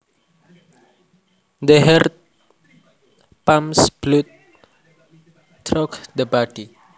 The heart pumps blood through the body